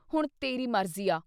ਹੁਣ ਤੇਰੀ ਮਰਜ਼ੀ ਆ।